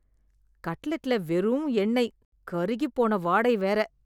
கட்லட்ல வெறும் எண்ணெய்... கருகிப்போன வாடை வேற.